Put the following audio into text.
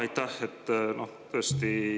Aitäh!